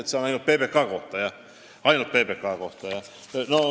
Kas see oli ainult PBK kohta?